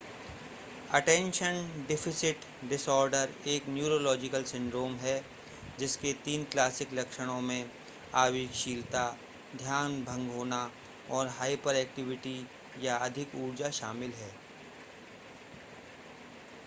attention deficit disorder एक neurological syndrome है जिसके तीन क्लासिक लक्षणों में आवेगशीलता ध्यान भंग होना और हाइपरएक्टिविटी या अधिक ऊर्जा शामिल है